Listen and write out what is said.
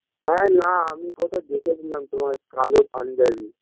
হ্যাঁ না আমি কোথায় দেখেছিলাম তোমায় কালো পাঞ্জাবি